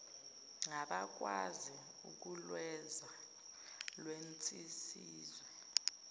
ngabakwazi ukulwenza lwenzisiswe